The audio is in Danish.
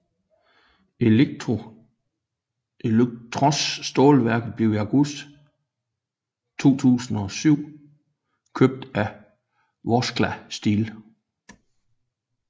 Elektrostålværket blev i august 2007 købt af Vorskla Steel